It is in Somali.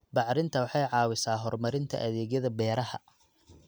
Bacrintu waxay caawisaa horumarinta adeegyada beeraha.